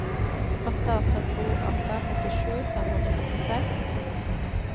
åtte åtte to åtte femtisju fem hundre og femtiseks